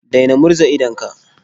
Daina murza idonka.